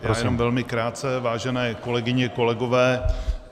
Já jen velmi krátce, vážené kolegyně, kolegové.